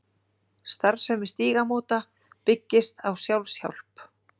Starfsemi Stígamóta byggist á sjálfshjálp.